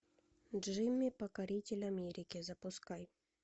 джимми покоритель америки запускай